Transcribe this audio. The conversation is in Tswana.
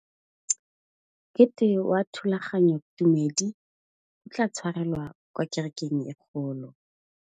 Mokete wa thulaganyôtumêdi o tla tshwarelwa kwa kerekeng e kgolo.